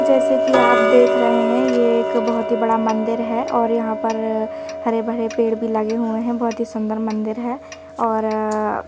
जैसे कि आप देख रहे हैं ये एक बहुत ही बड़ा मंदिर हैं और यहाँ पर हरे भरे पेड़ भी लगे हुए हैं बहुत ही सुंदर मंदिर हैं और--